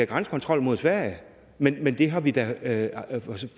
grænsekontrol mod sverige men men det har vi da